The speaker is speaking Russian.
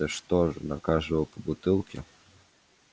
это что же на каждого по бутылке